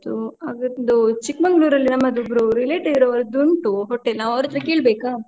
ಆಯ್ತಾಯ್ತು. ಅದೊಂದು ಚಿಕ್ಕ್ಮಂಗ್ಳೂರಲ್ಲಿ ನಮ್ಮದೊಬ್ಬರು relative ರವ್ರದ್ದು ಉಂಟು hotel , ನಾ ಅವರ್ಹತ್ರ ಕೇಳ್ಬೇಕಾ?